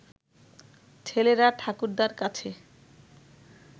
ছেলেরা ঠাকুরদার কাছে